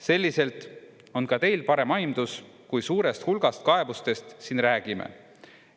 Selliselt on ka teil parem aimdus, kui suurest hulgast kaebustest siin räägime.